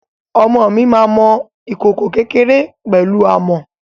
Ọmọ mi máa mọ ìkòkò kékéré pẹ̀lú amọ̀.